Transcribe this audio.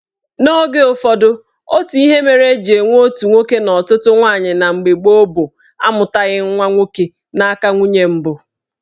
Oge ụfọdụ, otu ihe mere eji enwe otu nwoke na ọtụtụ nwaanyị na mgbe gboo bụ amụtaghị nwa nwoke n'aka nwunye mbụ